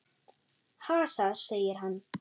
Hasar, segir hann.